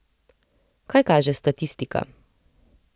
Kaj kaže statistika?